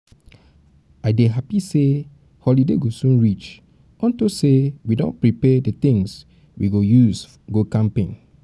i dey happy say holiday go soon reach unto um say we um don prepare the things we go use go camping